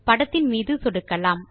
படத்தின் மீது சொடுக்கலாம்